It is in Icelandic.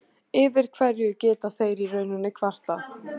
Yfir hverju geta þeir í rauninni kvartað?